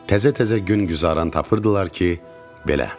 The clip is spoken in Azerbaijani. Təzə-təzə gün-güzəran tapırdılar ki, belə.